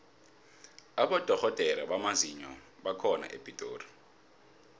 abodorhodere bamazinyo bakhona epitori